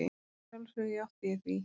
Að sjálfsögðu játti ég því.